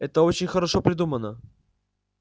это очень хорошо придумано